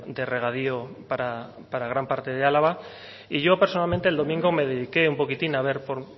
de regadío para gran parte de álava y yo personalmente el domingo me dediqué un poquitín a ver por